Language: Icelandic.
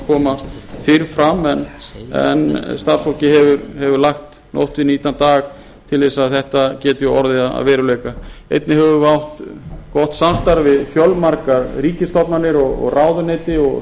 koma fyrr fram en starfsfólkið hefur lagt nótt við nýtan dag til að þetta gæti orðið að veruleika einnig höfum við átt gott samstarf við fjölmargar ríkisstofnanir ráðuneyti og